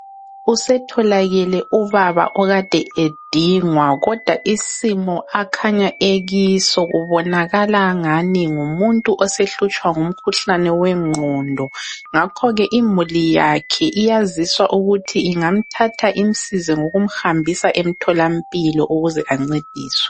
Usetholakele ubaba okade edingwa kodwa isimo akhanya ekiso kubonakala angani ngumuntu osehlutshwa ngumkhuhlane wengqondo ngakho ke imuli yakhe iyaziswa ukuthi ingamthatha imsize ngokumhambisa emtholampilo ukuze ancediswe.